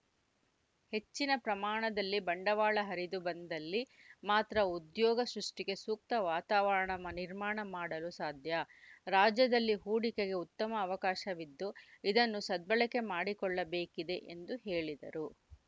ಹೆಚ್ಚಿನ ಪ್ರಮಾಣದಲ್ಲಿ ಬಂಡವಾಳ ಹರಿದು ಬಂದಲ್ಲಿ ಮಾತ್ರ ಉದ್ಯೋಗ ಸೃಷ್ಟಿಗೆ ಸೂಕ್ತ ವಾತಾವರಣ ಮನ್ ನಿರ್ಮಾಣ ಮಾಡಲು ಸಾಧ್ಯ ರಾಜ್ಯದಲ್ಲಿ ಹೂಡಿಕೆಗೆ ಉತ್ತಮ ಅವಕಾಶವಿದ್ದು ಇದನ್ನು ಸದ್ಭಳಕೆ ಮಾಡಿಕೊಳ್ಳಬೇಕಿದೆ ಎಂದು ಹೇಳಿದರು